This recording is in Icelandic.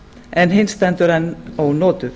en hin stendur enn ónotuð